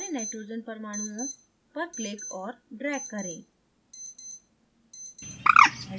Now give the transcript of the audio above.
सारे nitrogen परमाणुओं पर click और drag करें